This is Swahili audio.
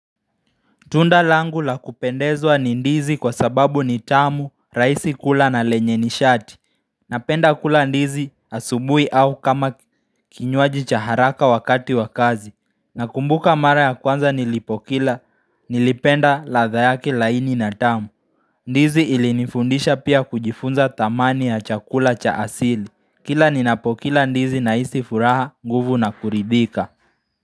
Tunda langu la kupendezwa ni ndizi kwa sababu ni tamu, rahisi kula na lenye ni shati. Napenda kula ndizi asubuhi au kama kinywaji cha haraka wakati wa kazi. Nakumbuka mara ya kwanza nilipokila, nilipenda radha yake laini na tamu. Ndizi ilinifundisha pia kujifunza thamani ya chakula cha asili. Kila ninapokila ndizi na hisi furaha, nguvu na kuridhika.